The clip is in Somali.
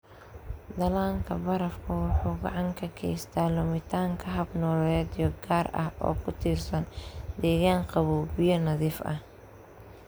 Dhallaanka barafku wuxuu gacan ka geystaa lumitaanka hab-nololeedyo gaar ah oo ku tiirsan deegaan qabow, biyo nadiif ah.